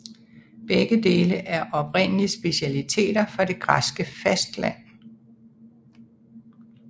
Begge dele er oprindeligt specialiteter fra det græske fastland